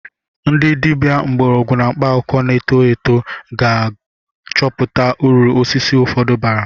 Ndị dibịa mgbọrọgwụ na mkpaakwụkwọ na-eto eto ka ga-achọpụta uru osisi ụfọdụ bara.